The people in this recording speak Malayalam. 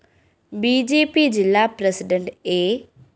ബി ജെ പി ജില്ലാ പ്രസിഡണ്ട് എ